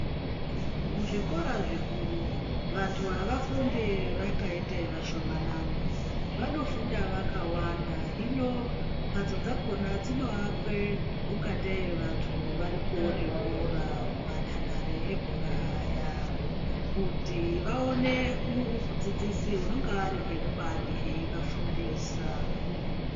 Muzvikora zvikuru vantu avafunde vakayite vashomanani, vanofunda vakawanda, hino mbatso dzakona dzinoakwe ungateyi vantu vari kuwona bhora kumandandare ebhora aya, kuti vawone mudzidzisi unonga ari ngemubani eyivafundisa.